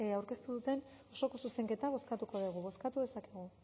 aurkeztu duten osoko zuzenketa bozkatuko dugu bozkatu dezakegu